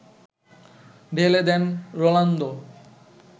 ঢেলে দেন রোনালদো